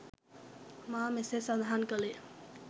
මා මෙසේ සඳහන් කළේ